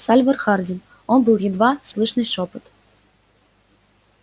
сальвор хардин он был едва слышный шёпот